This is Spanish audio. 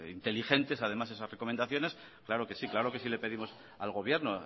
inteligentes además esas recomendaciones claro que sí claro que sí le pedimos al gobierno